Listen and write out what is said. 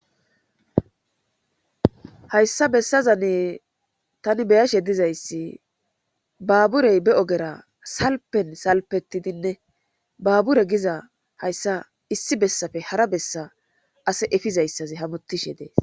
Hayssa bessaza ni tani beyashe dizayssi baaburey be ogera salpen salpetidinne baabure giza hayssa issi bessafe hara bessa ase efizayssazi hamutishe dee